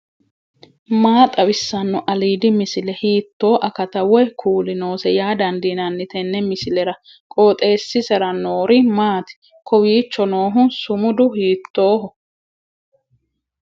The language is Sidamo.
maa xawissanno aliidi misile ? hiitto akati woy kuuli noose yaa dandiinanni tenne misilera? qooxeessisera noori maati ? kowiicho noohu sumudu hiittoho